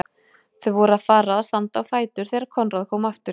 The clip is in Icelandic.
Þau voru að fara að standa á fætur þegar Konráð kom aftur.